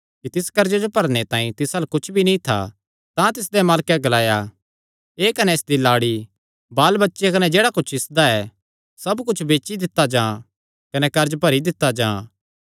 कि तिस कर्जे जो भरणे तांई तिस अल्ल कुच्छ भी नीं था तां तिसदे मालकैं ग्लाया एह़ कने इसदी लाड़ी बाल बच्चे कने जेह्ड़ा कुच्छ इसदा ऐ सब कुच्छ बेची दित्ता जां कने कर्ज भरी दित्ता जां